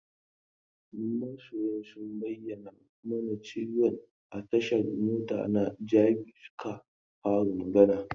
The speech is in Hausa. Masoyan sun bayyana mana cewan a tashan mota na Jabi suka fara magana.